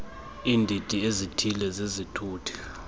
iindidi ezithile zezithuthi